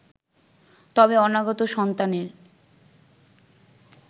তবে অনাগত সন্তানের